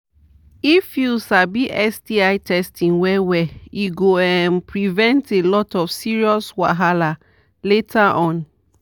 if u sabi sti testing well well e go um prevent a lot of serious wahala later on